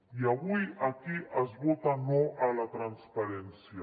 i avui aquí es vota no a la transparència